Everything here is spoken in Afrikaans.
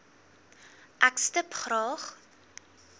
ek stip graag